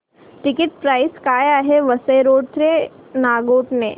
ticket price काय आहे Vasai road ते नागोठणे